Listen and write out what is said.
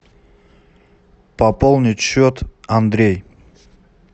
пополнить счет андрей